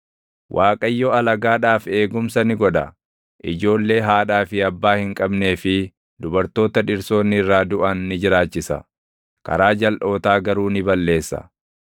Waaqayyo alagaadhaaf eegumsa ni godha; ijoollee haadhaa fi abbaa hin qabnee fi dubartoota dhirsoonni irraa duʼan ni jiraachisa; karaa jalʼootaa garuu ni balleessa.